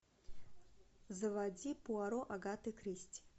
заводи пуаро агаты кристи